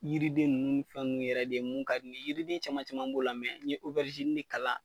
Yiriden nunnu ni fɛnɛ yɛrɛ de ye mun ka di ne ye yiriden caman caman b'o la mɛ n ye o bɛrizini de k'ala